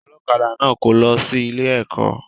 Ọlọ́kadà náà kò lọ sí ilé ẹ̀kọ́